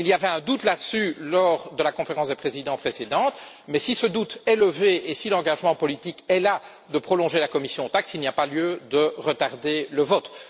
Il y avait un doute à ce sujet lors de la Conférence des présidents précédente, mais si ce doute est levé et si l'engagement politique est pris de prolonger la commission Taxe, il n'y a pas lieu de retarder le vote.